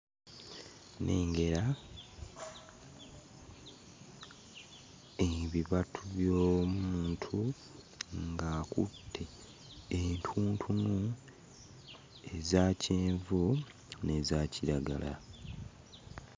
Nengera ebibatu by'omuntu ng'akutte entuntunu eza kyenvu n'eza kiragala.